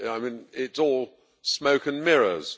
I mean it's all smoke and mirrors.